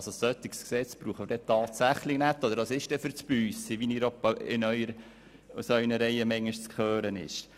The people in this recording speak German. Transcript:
Ein solches Gesetz brauchen wir tatsächlich nicht, oder es ist dann «für d’Chatz», wie manchmal aus Ihren Reihen zu hören ist.